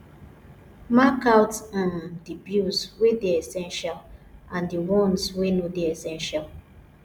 mark out um di bills wey dey essential and di ones wey no dey essential